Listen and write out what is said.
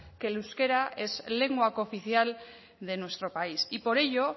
que el euskera es lengua cooficial de nuestro país y por ello